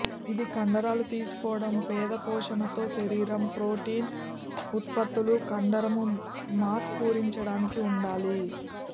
ఇది కండరాలు తీసుకోవడం పేద పోషణ తో శరీరం ప్రోటీన్ ఉత్పత్తులు కండరము మాస్ పూరించడానికి ఉండాలి